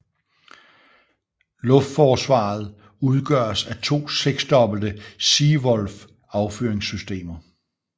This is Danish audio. Luftforsvaret udgøres af to seksdobbelte Sea Wolf affyringssystemer